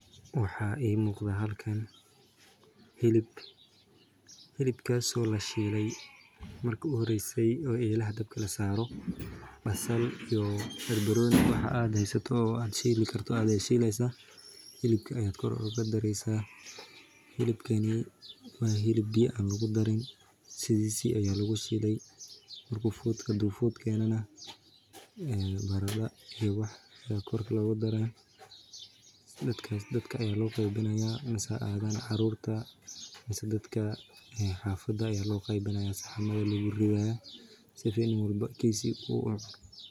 Waxaa ii muqada halkan hilib lashiile marki uhoreyso oo dabka lasaare hilibka ayaa kor ooga dareysa marki uu fuud keeno barada ayaa lagu daraa saxan ayaa lagu ridaa si qof walbo uu uhelo.